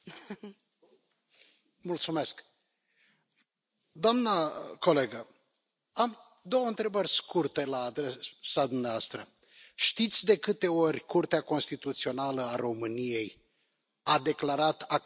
Doamnă in 't Veld, am două întrebări scurte la adresa dumneavoastră. Știți de câte ori Curtea Constituțională a României a declarat acțiunile doamnei Kövesi ca anticonstituționale?